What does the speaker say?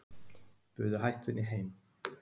Buðu hættunni heim